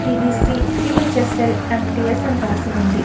DDC సిహేఛస్ల ఎంట్స్ అని రాసి ఉంది.